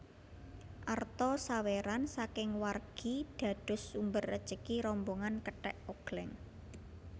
Arta sawéran saking wargi dados sumber rejeki rombongan kethèk ogléng